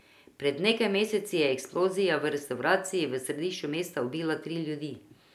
Pred nekaj meseci je eksplozija v restavraciji v središču mesta ubila tri ljudi.